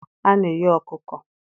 A na-eghe ọkụkọ.